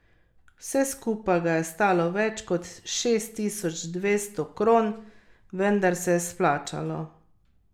Vse skupaj ga je stalo več kot šest tisoč dvesto kron, vendar se je splačalo.